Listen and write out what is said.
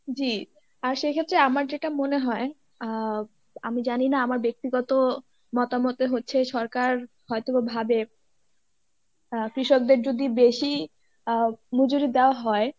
জী আর সেই ক্ষেত্রে আমার যেটা মনে হয় আহ আমি জানিনা আমার ব্যক্তিগত মতামতে হচ্ছে সরকার হয়তোবা ভাবে কৃষকদের যদি বেশি আহ মজুরি দেওয়া হয়